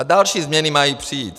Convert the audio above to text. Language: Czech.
A další změny mají přijít.